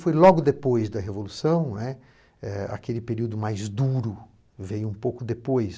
Foi logo depois da Revolução, né, eh aquele período mais duro veio um pouco depois.